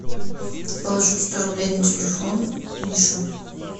положить сто рублей на телефон мише